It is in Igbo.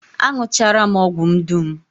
Aṅụchara m ọgwụ m dum